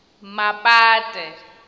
mapate